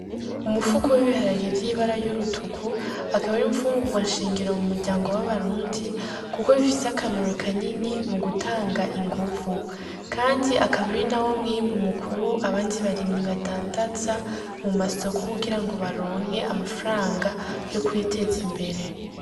Umupfuko wiharariya ivyoibara y'urutuku akabiri imfungurwa nshengero mu muryango w'abarundi, kuko bifise akamero kanini mu gutanga inguvu, kandi akabiri na wo mwimbu mukuru abandi barimyi badandaza mu masoko kugira ngo baronke amafaranga yo kwiteza imbere.